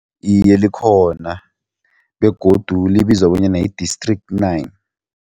Iye, likhona begodu libizwa bonyana yi-District Nine